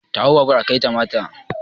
Ta hau babur ka kaita mata!